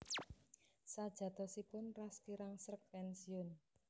Sajatosipun Ras kirang sreg pénsiun